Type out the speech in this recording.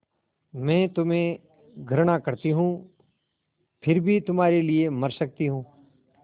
मैं तुम्हें घृणा करती हूँ फिर भी तुम्हारे लिए मर सकती हूँ